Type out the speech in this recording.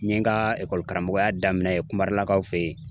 N ye n ka karamɔgɔya daminɛ yen kumarelakaw fɛ yen.